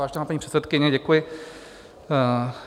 Vážená paní předsedkyně, děkuji.